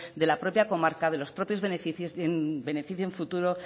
de la propia comarca de los propios vecinos y beneficie